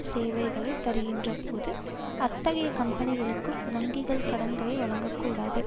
சேவைகளை தருகின்றபோது அத்தகைய கம்பெனிகளுக்கு வங்கிகள் கடன்களை வழங்கக்கூடாது